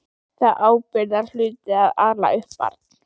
Það er ábyrgðarhluti að ala upp barn.